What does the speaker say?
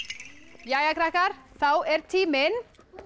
jæja krakkar fá er tíminn